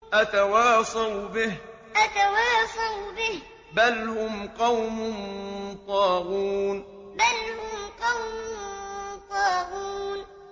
أَتَوَاصَوْا بِهِ ۚ بَلْ هُمْ قَوْمٌ طَاغُونَ أَتَوَاصَوْا بِهِ ۚ بَلْ هُمْ قَوْمٌ طَاغُونَ